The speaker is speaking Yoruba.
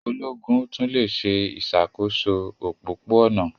Ológun tún le se ìsàkóso òpópó-ònà